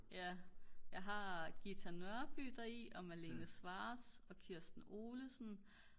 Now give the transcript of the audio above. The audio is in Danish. ja jeg har Ghita Nørby deri og Malene Scwarz og Kirsten Olesen